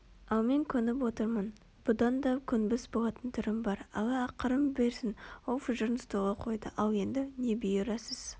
ал мен көніп отырмын бұдан да көнбіс болатын түрім бар алла ақырын берсін ол фужерін столға қойды ал енді не бұйырасыз